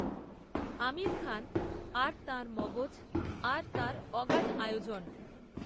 আমির খান আর তাঁর মগজ আর তাঁর অগাধ আয়োজন